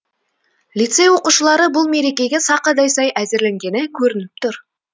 лицей оқушылары бұл мерекеге сақадай сай әзірленгені көрініп тұр